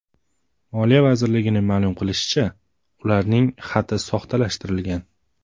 Moliya vazirligining ma’lum qilishicha , ularning xati soxtalashtirilgan.